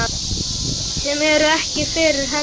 Sem eru ekki fyrir hendi.